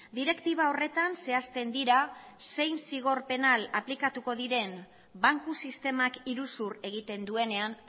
direktiba horretan zehazten dira zein zigor penal aplikatu diren banku sistemak iruzur egiten duenean